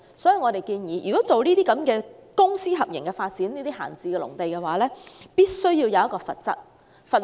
所以，我們建議以公私營合作模式發展閒置農地時，必須設立罰則。